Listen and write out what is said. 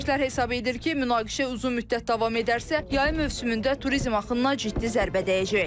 Ekspertlər hesab edir ki, münaqişə uzun müddət davam edərsə, yay mövsümündə turizm axınına ciddi zərbə dəyəcək.